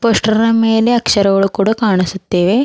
Poster ನ ಮೇಲೆ ಅಕ್ಷರಗಳು ಕೂಡ ಕಾಣಿಸುತ್ತಿವೆ.